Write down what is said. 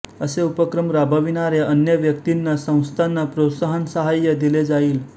असे उपक्रम राबविणाऱ्या अन्य व्यक्तींनासंस्थांना प्रोत्साहनसाहाय्य दिले जाईल